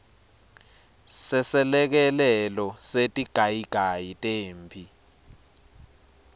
seselekelelo setigayigayi temphi